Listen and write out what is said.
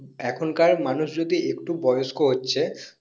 এখন কার মানুষ যদি একটু বয়স্ক হচ্ছে